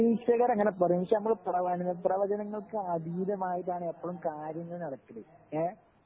നിരീക്ഷകര് അങ്ങനെ പറയും പക്ഷേ അമ്മള് പ്രവചനങ്ങൾക്ക് അതീതമായിട്ടാണ് എപ്പോളും കാര്യങ്ങള് നടക്കല് ങ്ഹേ